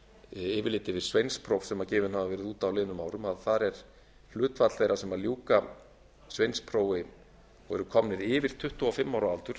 yfirlit yfir sveinspróf sem gefin hafa verið út á liðnum árum að þar er hlutfall þeirra sem ljúka sveinsprófi og eru komnir yfir tuttugu og fimm ára aldur